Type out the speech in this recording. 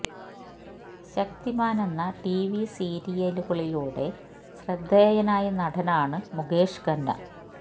ശക്തിമാന് എന്ന T V സീരയലുകളിലൂടെ ശ്രദ്ധേയനായ നടനാണ് മുകേഷ് ഖന്ന